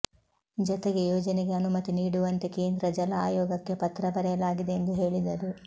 ಜತೆಗೆ ಯೋಜನೆಗೆ ಅನುಮತಿ ನೀಡುವಂತೆ ಕೇಂದ್ರ ಜಲ ಆಯೋಗಕ್ಕೆ ಪತ್ರ ಬರೆಯಲಾಗಿದೆ ಎಂದು ಹೇಳಿದರು